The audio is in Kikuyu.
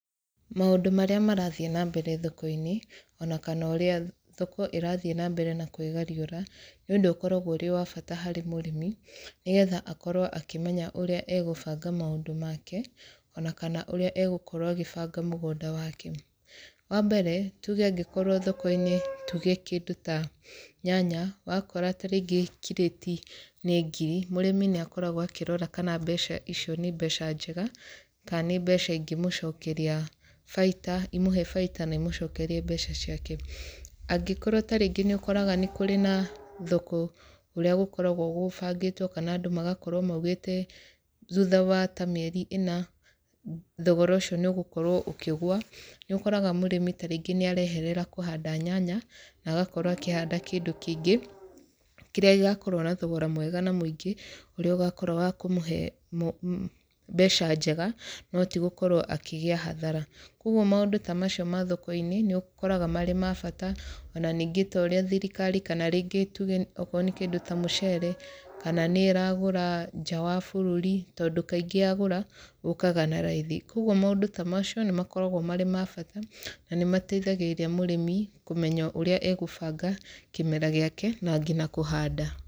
Maũndũ marĩa marathiĩ na mbere thoko-inĩ, ona kana ũrĩa thoko ĩrathiĩ na mbere na kwĩgariũra, nĩ ũndũ ũkoragwo ũrĩ wa bata harĩ mũrĩmi, nĩgetha akorwo akĩmenya ũrĩa egũbanga maũndũ make, ona kana ũrĩa egũkorwo agĩbanga mũgũnda wake. Wa mbere, tuge angĩkorwo thoko-inĩ tuge kĩndũ ta nyanya, wakora tarĩngĩ kirĩti nĩ ngiri, mũrĩmi nĩ akoragwo akĩrora kana mbeca icio nĩ mbeca njega, kana nĩ mbeca ingĩmũcokeria baita, imũhe baita na imũcokerie mbeca ciake. Angĩkorwo tarĩngĩ nĩ ũkoraga nĩ kũrĩ na thoko ũrĩa gũkoragwo gũbangĩtwo kana andũ magakorwo maugĩte, thutha wa ta mĩeri ĩna, thogora ũcio nĩ ũgũkorwo ũkĩgũa. Nĩ ũkoraga mũrĩmi tarĩngĩ nĩ areherera kũhanda nyanya, na agakorwo akĩhanda kĩndũ kĩngĩ, kĩrĩa gĩgakorwo na thogora mwega na mũingĩ, ũrĩa ũgakorwo wa kũmũhe mbeca njega no ti gũkorwo akĩgĩa hathara. Kũguo maũndũ ta macio ma thoko-inĩ, nĩ ũkoraga marĩ ma bata, ona ningĩ ta ũrĩa thirikari kana rĩngĩ tuge okorwo nĩ kĩndũ ta mũcere, kana nĩ ĩragũra nja wa bũrũri. Tondũ kaingĩ yagũra, ũkaga na raithi. Kũguo maũndũ ta macio, nĩ makoragwo marĩ ma bata, na nĩ mateithagĩrĩria mũrĩmi kũmenya ũrĩa egũbanga kĩmera gĩake, na ngina kũhanda.